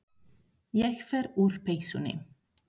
Ég fer úr peysunni.